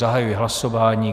Zahajuji hlasování.